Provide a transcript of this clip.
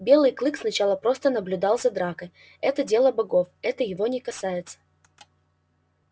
белый клык сначала просто наблюдал за дракой это дело богов это его не касается